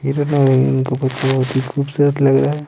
ये तो इनको बहुत ही खूबसूरत लग रहा है।